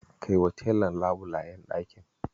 Kaiwa telan labulayen ɗakin.